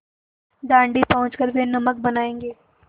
दाँडी पहुँच कर वे नमक बनायेंगे